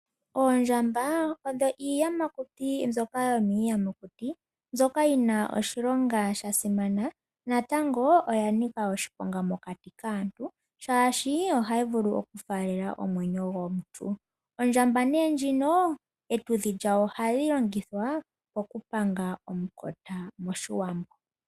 Oondjamba odho iiyamakuti mbyoka yomiiyamakuti mbyoka yina oshilonga shasimana, natango oya nika oshiponga mokati kaantu shaashi ohayi vulu oku faalela omwenyo gomuntu. Ondjamba nee ndjino etudhi lyawo ohali longithwa oku panga omukota moshiwambo.